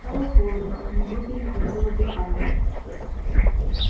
стало холодно у него перехватило дыхание